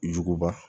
Juguba